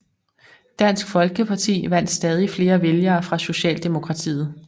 Dansk Folkeparti vandt stadig flere vælgere fra Socialdemokratiet